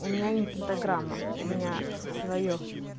у меня не пентаграмма у меня своё